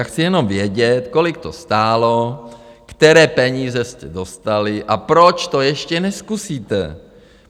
Já chci jenom vědět, kolik to stálo, které peníze jste dostali a proč to ještě nezkusíte.